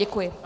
Děkuji.